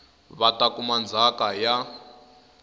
va ta kuma ndzhaka ya